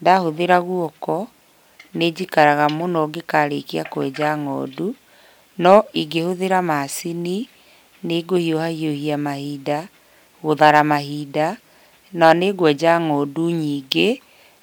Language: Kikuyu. Ndahũthĩra guoko, nĩ njikaraga mũno ngĩkarĩkia kwenja ng'ondu, no ingĩhũthĩra macini nĩ ngũhiũhahiũhia mahinda, gũthara mahinda, na nĩ ngwenja ng'ondu nyingĩ